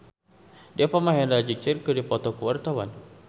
Deva Mahendra jeung Cher keur dipoto ku wartawan